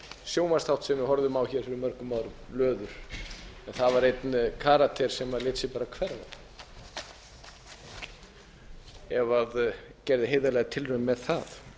sjónvarpsþátt sem við horfðum á hér fyrir mörgum árum löður einn karakter í þeim þætti lét sig bara hverfa eða gerði heiðarlega tilraun með það